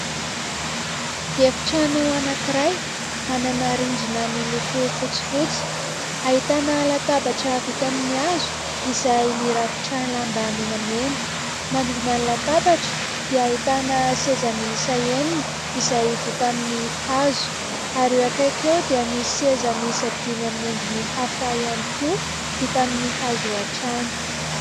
Efitrano anankiray : manana rindrina miloko fotsifotsy; ahitana latabatra vita amin'ny hazo izay mirakotra lamba menamena; manodidina ny latabatra dia ahitana seza miisa enina izay vita amin'ny hazo ary eo ankaiky eo dia misy seza miisa dimy amin'ny endriny hafa ihany koa , vita amin'ny hazo hatrany.